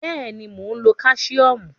Bẹ́ẹ̀ ni, mò ń lo Káṣíọ́mù.